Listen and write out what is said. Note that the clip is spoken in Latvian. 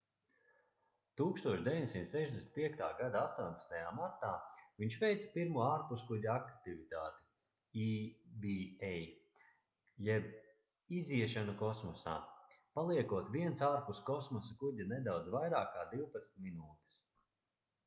1965. gada 18. martā viņš veica pirmo ārpuskuģa aktivitāti eva jeb iziešanu kosmosā paliekot viens ārpus kosmosa kuģa nedaudz vairāk kā divpadsmit minūtes